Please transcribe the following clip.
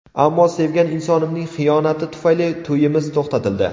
Ammo sevgan insonimning xiyonati tufayli to‘yimiz to‘xtatildi.